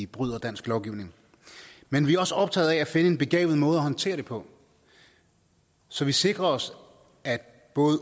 bryder dansk lovgivning men vi er også optaget af at finde en begavet måde at håndtere det på så vi sikrer os at